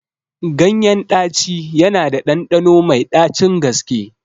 Ganyen ɗaci yana da ɗanɗano mai ɗacin gaske